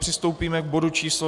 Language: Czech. Přistoupíme k bodu číslo